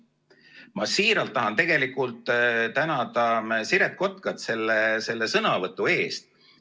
Ma siiralt tahan tänada Siret Kotkat selle sõnavõtu eest.